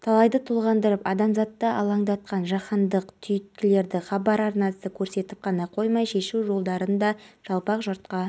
жазғы кинотеатрдың техникалық ашылуы маусымның күні сағат өтеді алғаш рет бұл жерде қазақ елі туындысы көрсетіледі